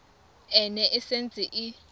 e ne e setse e